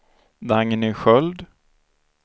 Dagny Sköld